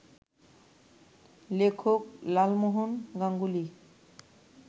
লেখক লালমোহন গাঙ্গুলি